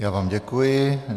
Já vám děkuji.